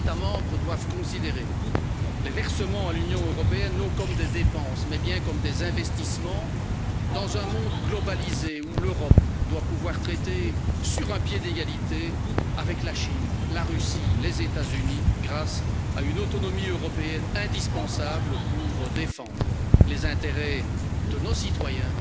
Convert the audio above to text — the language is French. Les États membres doivent considérer les versements à l'Union européenne, non comme des dépenses mais bien comme des investissements dans un monde globalisé, où l'Europe doit pouvoir traiter sur un pied d'égalité avec la Chine, la Russie, les États Unis, grâce à une autonomie européenne indispensable pour défendre les intérêts de nos citoyens